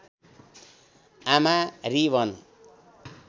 आमा री वन